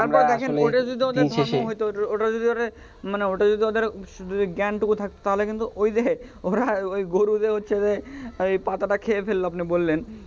তো দেখেন ওটা যদি ওদের ধর্ম হইত ওটা যদি ওরে মানে ওটা যদি ওদের জ্ঞ্যানটুকু থাকত তাহলে কিন্তু ওই যে ওরা ওই গরুরে হচ্ছে যে ওই পাতাটা খেয়ে ফেলল আপনি বললেন